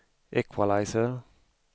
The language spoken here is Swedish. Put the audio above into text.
equalizer